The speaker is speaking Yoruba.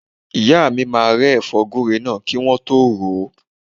Ìyá mi máa rẹ́ ẹ̀fọ́ gúre náà kí wọ́n tọ́ ròó.